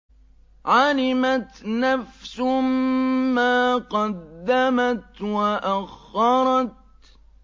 عَلِمَتْ نَفْسٌ مَّا قَدَّمَتْ وَأَخَّرَتْ